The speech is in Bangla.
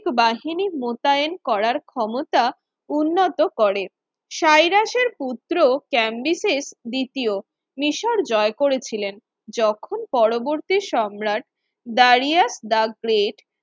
বাহিনী মোতায়েন করার ক্ষমতা উন্নত করে সাইরাসের পুত্র ক্যান্ডিসে দ্বিতীয় মিশর জয় করেছিলেন যখন পরবর্তী সম্রাট দাঁড়িয়া দা গ্রেট